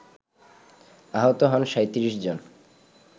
আহত হন ৩৭ জন